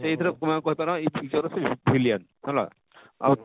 ସେଇ ଥିରେ villian ହେଲା ଆଉ